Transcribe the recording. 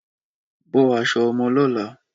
Bọ aṣọ ọmọ lọla